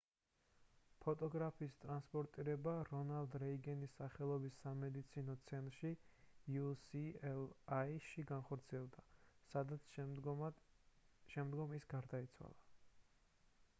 ფოტოგრაფის ტრანსპორტირება რონალდ რეიგანის სახელობის სამედიცინო ცენტრ ucla-ში განხორციელდა სადაც შემდგომ ის გარდაიცვალა